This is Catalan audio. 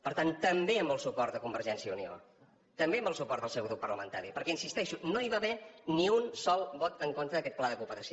per tant també amb el suport de convergència i unió també amb el suport del seu grup parlamentari perquè hi insisteixo no hi va haver ni un sol vot en contra d’aquest pla de cooperació